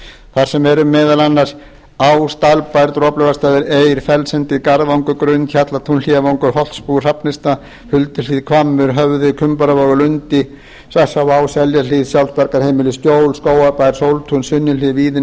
þar sem eru meðal annars ás dalbær droplaugarstaðir eir fellsendi garðvangur grund hjallatún hlíðarvangur og holtsbúð hrafnista hulduhlíð hvammur höfði kumbaravogur lundi seljahlíð sjálfsbjargarheimilið skjól skógarbær sóltún